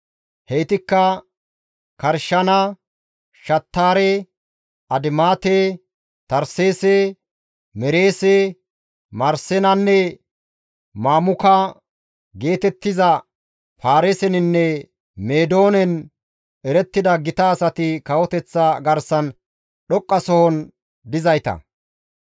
Heytikka Karshana, Shattaare, Adimaate, Tarseese, Mereese, Marsenanne Mamuka geetettiza Paariseninne Meedoonen erettida gita asati kawoteththa garsan dhoqqasohon dizayta.